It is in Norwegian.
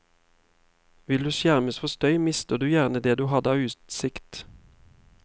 Vil du skjermes for støy, mister du gjerne det du hadde av utsikt.